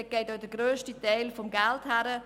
Dort geht auch der grösste Teil des Geldes hin.